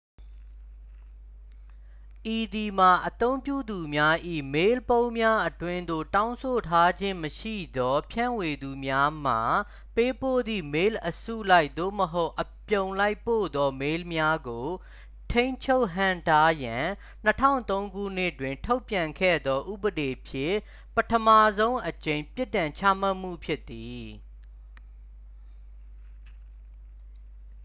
ဤသည်မှာ အသုံးပြုသူများ၏ မေးလ်ပုံးများအတွင်းသို့ တောင်းဆိုထားခြင်းမရှိသောဖြန့်ဝေသူများမှ ပေးပို့သည့် မေးလ်အစုလိုက် သို့မဟုတ် အပြုံလိုက်ပို့သော မေးလ်များကို ထိန်းချုပ်ဟန့်တားရန် 2003 ခုနှစ်တွင် ထုတ်ပြန်ခဲ့သော ဥပဒေဖြင့် ပထမဆုံးအကြိမ် ပြစ်ဒဏ်ချမှတ်မှုဖြစ်သည်